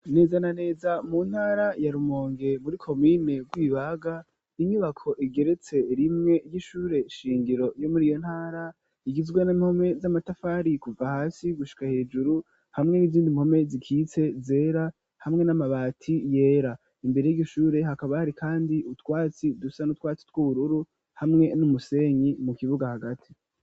Neza na neza mu ntara ya Rumonge muri komine Rwibaga inyubako igeretse rimwe ry'ishure shingiro yo muriyo ntara igizwe n'impome z'amatafari kuva hasi gushika hejuru hamwe n'izindi mpome zikitse zera hamwe n'amabati yera imbere yiryo shure hakaba hari kandi utwatsi dusa n'utwatsi tw'ubururu hamwe n'umusenyi mu kibuga hagati.